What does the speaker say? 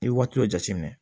I ye waati dɔ jateminɛ